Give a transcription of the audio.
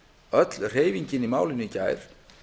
öll hreyfingin í málinu í gær